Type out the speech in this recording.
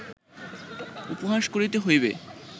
উপহাস করিতে হইবে